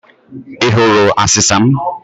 I hụrụ asịsa m?